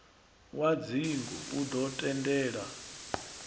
wa dzingu u ḓo tendela